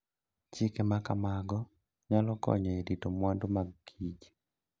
Chike ma kamago nyalo konyo e rito mwandu mag kich.